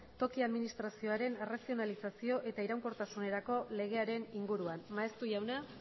toki administrazioaren arrazionalizazio eta iraunkortasunerako legearen inguruan maeztu jauna